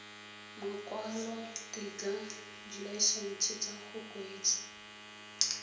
makwalotetla dilaesense tsa go kgweetsa